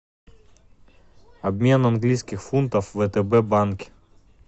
обмен английских фунтов в втб банке